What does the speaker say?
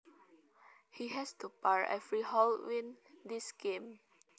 He has to par every hole win this game